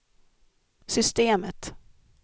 systemet